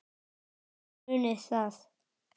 Munið það.